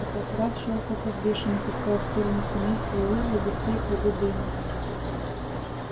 фотоаппарат щёлкал как бешеный пуская в сторону семейства уизли густые клубы дыма